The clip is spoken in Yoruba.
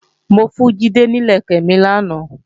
Mo fún Jídé ní ìlẹ̀kẹ̀ mi lánàá